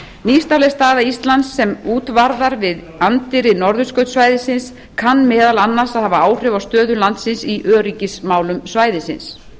nýstárleg staða íslands sem útvarðar við anddyri norðurskautssvæðisins kann meðal annars að hafa áhrif á stöðu landsins í öryggismálum svæðisins